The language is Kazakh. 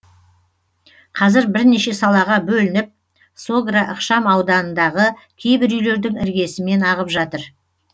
қазір бірнеше салаға бөлініп согра ықшам ауданындағы кейбір үйлердің іргесімен ағып жатыр